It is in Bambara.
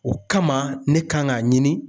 O kama ne kan g'a ɲini